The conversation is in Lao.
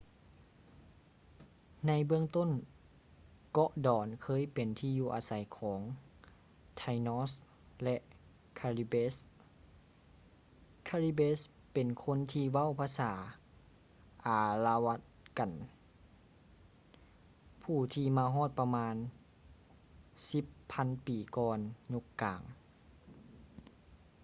ໃນເບື້ອງຕົ້ນເກາະດອນເຄີຍເປັນທີ່ຢູ່ອາໄສຂອງ taínos ແລະ caribes. caribes ເປັນຄົນທີ່ເວົ້າພາສາອາລະວະກັນ arawakan ຜູ້ທີ່ມາຮອດປະມານ 10.000 ປີກ່ອນຍຸກກາງ